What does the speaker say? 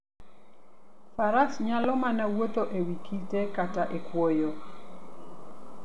Faras nyalo mana wuotho e wi kite kata e kwoyo.